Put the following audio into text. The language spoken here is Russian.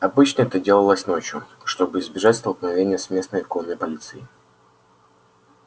обычно это делалось ночью чтобы избежать столкновения с местной конной полицией